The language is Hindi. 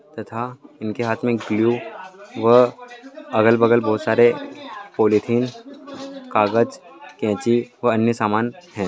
तथा इनके हाथ मै गलू व अगल बगल बोहत सारे पोलयथेन कागज काईची और अन्य समान हैं ।